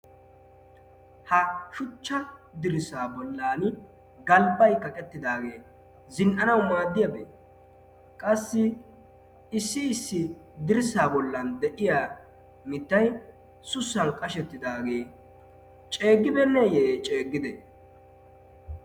ha shuchcha dirssa bollan galbay kaqettidaagee zin'anawu maaddiyaabee qassi issi issi dirssa bollan de'iya mittay sussan qashettidaagee ceeggibeenneeyye ceeggide?